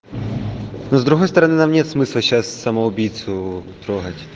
с другой стороны нам нет смысла сейчас самоубийцу трогать